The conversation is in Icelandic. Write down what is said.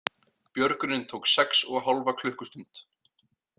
Björgunin tók sex og hálfa klukkustund